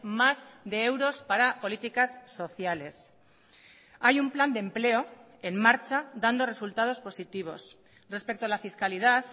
más de euros para políticas sociales hay un plan de empleo en marcha dando resultados positivos respecto a la fiscalidad